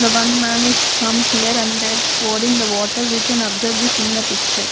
the one man is come here and there pouring the water we can observe this in the picture.